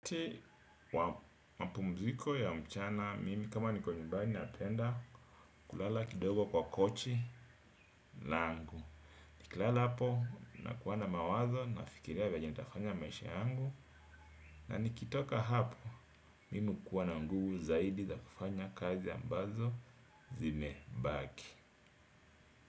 Ti wa mapu mziko ya mchana mimi kama niko nyumbani napenda kulala kidogo kwa kochi langu. Nikilala hapo na kuwana mawazo na fikiria vyenye ntafanya maisha yangu. Na nikitoka hapo mimi hukuwana nguvu zaidi za kufanya kazi ambazo zime baki.